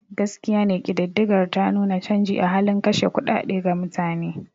Gaskiya ne kididdigar ta nuna canji a halin kashe kuɗaɗe ga mutane.